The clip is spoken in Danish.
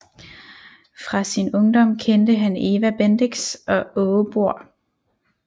Fra sin ungdom kendte han Eva Bendix og Aage Bohr